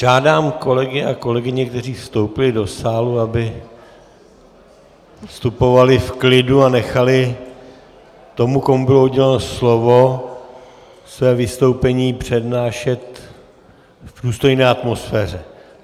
Žádám kolegy a kolegyně, kteří vstoupili do sálu, aby vstupovali v klidu a nechali toho, komu bylo uděleno slovo, své vystoupení přednášet v důstojné atmosféře.